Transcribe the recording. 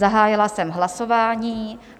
Zahájila jsem hlasování.